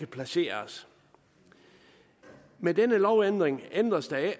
placeres med denne lovændring ændres der ikke